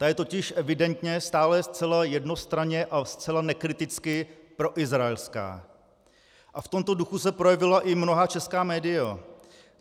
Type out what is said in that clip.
Ta je totiž evidentně stále zcela jednostranně a zcela nekriticky proizraelská a v tomto duchu se projevila i mnohá česká média.